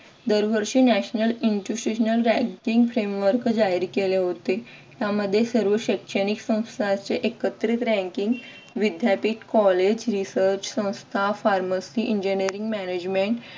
दरवर्षी international ranking framework जाहीर केले होते त्यामध्ये सर्व शैक्षणिक संस्थांचे एकत्रित ranking विद्यापीठ कॉलेज research संस्था pharmacy engineering management